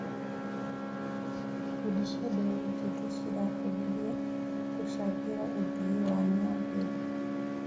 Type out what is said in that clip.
Ikundi cia mbeũ njĩthĩ cirabundithio gũcangĩra ũthii wa na mbere.